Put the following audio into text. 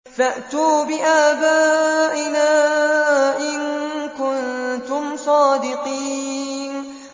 فَأْتُوا بِآبَائِنَا إِن كُنتُمْ صَادِقِينَ